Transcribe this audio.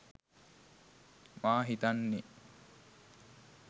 මා හිතන්නේ.